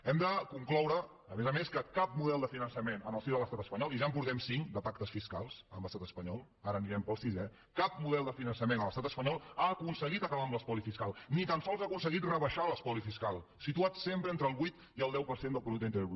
hem de concloure a més a més que cap model de finançament en el si de l’estat espanyol i ja en portem cinc de pactes fiscals amb l’estat espanyol ara anirem per al sisè cap model de finançament a l’estat espanyol ha aconseguit acabar amb l’espoli fiscal ni tan sols ha aconseguit rebaixar l’espoli fiscal situat sempre entre el vuit i el deu per cent del producte interior brut